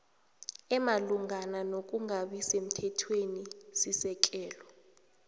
omalungana nokungabi semthethwenisisekelo